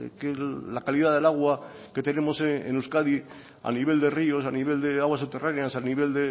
que la calidad del agua que tenemos en euskadi a nivel de ríos a nivel de aguas subterráneas a nivel